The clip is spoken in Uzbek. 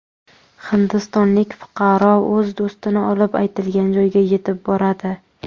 Hindistonlik fuqaro o‘z do‘stini olib, aytilgan joyga yetib boradi.